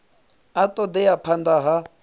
a ṱo ḓea phanḓa ha